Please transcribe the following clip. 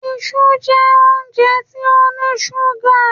Ìṣu jẹ́ óúnjẹ tó ní ṣúgà.